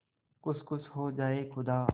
खुद खुश हो जाए खुदा